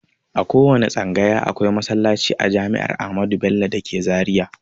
A kowanne tsangaya akwai masallaci a jami'ar amadu bello dake zaria